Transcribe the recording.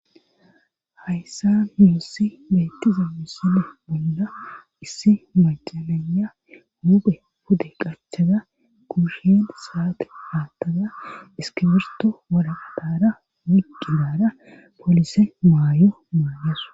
Hayssa muossi beettiza misile bolda issi macananya huuphe pude qachada kuusheen saate haattaza iskibirto waladara migidara poolisen maayo maalesu.